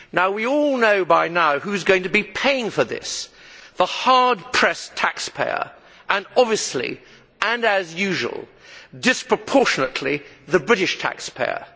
We all know by now who is going to be paying for this the hard pressed taxpayer and obviously and as usual disproportionately the British taxpayer.